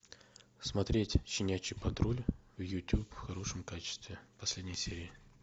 смотреть щенячий патруль в ютуб в хорошем качестве последние серии